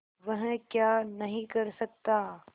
वह क्या नहीं कर सकता